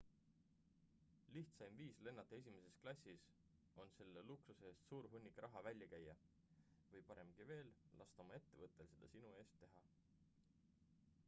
lihtsaim viis lennata esimeses klassis on selle luksuse eest suur hunnik raha välja käia või paremgi veel lasta oma ettevõttel seda sinu eest teha